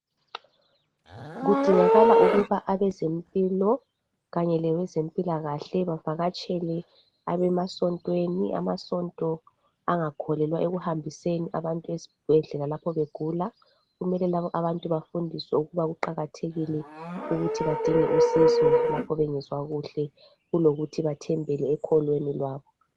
Kudingakala ukuba abezempilo kanye labezempilakahle bevakatshele abemasontweni, amasonto angakholelwa ekuhambiseni abantu ezibhedlela lapho begula kumele labo bantu bafundiswe ukuba kuqakathekile ukuthi badinge usizo lapho bengezwa kuhle kulokuthi bathembele ekholweni lwabo.